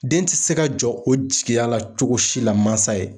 Den ti se ka jɔ o jigiya la cogo si la masa ye.